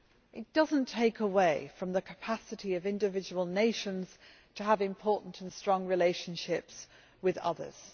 This does not take away from the capacity of individual nations to have important and strong relationships with others.